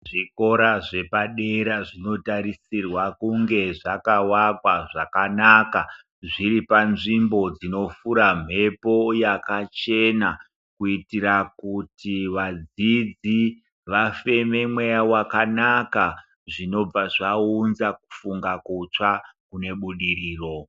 Zvikora zvepadera zvinotarisirwa kunge zvakawakwa zvakanaka zviri panzvimbo dzinofura mhepo yakachena kuitira kuti vadzidzi vafeme mweya wakanaka zvinobva zvaunza kufunga kutsva kune budiriro .